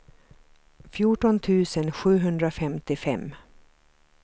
fjorton tusen sjuhundrafemtiofem